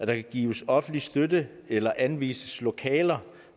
kan gives offentlig støtte eller anvises lokaler